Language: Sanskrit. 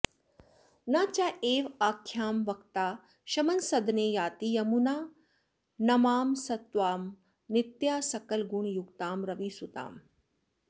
न चैवाख्यां वक्ता शमनसदने याति यमुने नमामस्त्वां नित्यां सकलगुणयुक्तां रविसुताम्